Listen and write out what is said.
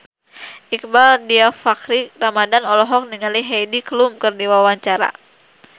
Iqbaal Dhiafakhri Ramadhan olohok ningali Heidi Klum keur diwawancara